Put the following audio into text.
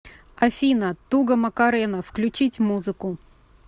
афина туга макарена включить музыку